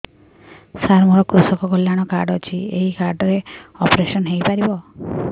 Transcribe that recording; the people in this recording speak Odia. ସାର ମୋର କୃଷକ କଲ୍ୟାଣ କାର୍ଡ ଅଛି ଏହି କାର୍ଡ ରେ ଅପେରସନ ହେଇପାରିବ